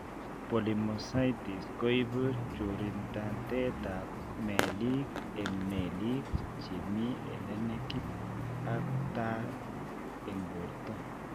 Polymyositis koibu chorintatet ab meelik, eng' meelik chemii elenekit ak taa eng' borto